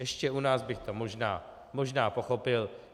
Ještě u nás bych to možná pochopil.